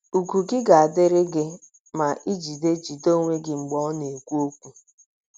Ùgwù gị ga - adịrị gị ma i jide jide onwe gị mgbe ọ na - ekwu okwu.